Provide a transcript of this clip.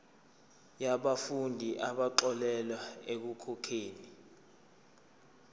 yabafundi abaxolelwa ekukhokheni